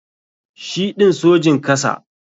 Shi ɗin Sojin kasa.